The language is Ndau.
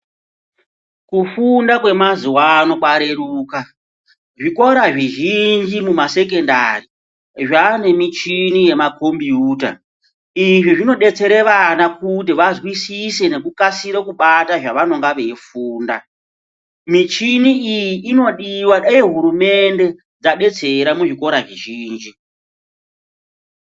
Kufunda kwemazuwa ano kwareruka, zvikora zvizhinji mumasecondary zvaane michini yemaKombuta. Izvi zvinodetsera vana kuti vazwisise nekukasire kubata zvavanenge veifunda. Michini iyi inodiwa, dai hurumende yadetsera muzvikora zvizhinji.